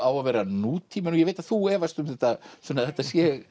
á að vera nútíminn og ég veit að þú efast um Sunna að þetta sé